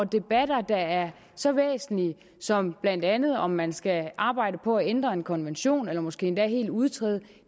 debatter der er så væsentlige som blandt andet om man skal arbejde på at ændre en konvention eller måske endda helt udtræde